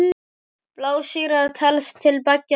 Blásýra telst til beggja flokka.